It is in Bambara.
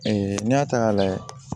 n'i y'a ta k'a lajɛ